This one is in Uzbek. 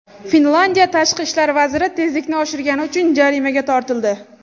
Finlyandiya tashqi ishlar vaziri tezlikni oshirgani uchun jarimaga tortildi.